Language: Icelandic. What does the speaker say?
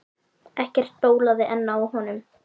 Ekkert bólaði enn á honum.